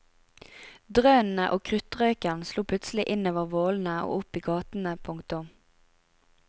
Drønnene og kruttrøken slo plutselig innover vollene og opp i gatene. punktum